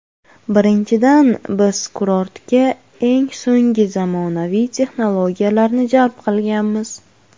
Birinchidan, Biz kurortga eng so‘ngi zamonaviy texnologiyalarni jalb qilganmiz.